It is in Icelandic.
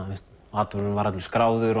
atburðurinn var allur skráður